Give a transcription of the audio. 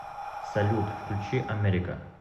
салют включи америка